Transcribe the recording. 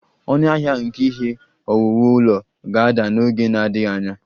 Ọnụahịa nke ihe owuwu ụlọ ga-ada n'oge na-adịghị anya